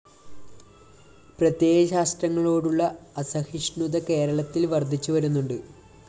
പ്രത്യയശാസ്ത്രങ്ങളോടുള്ള അസഹിഷ്ണുത കേരളത്തില്‍ വര്‍ദ്ധിച്ചുവരുന്നുണ്ട്